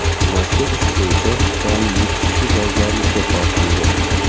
Mazkur ish bo‘yicha jami yetti kishi javobgarlikka tortildi.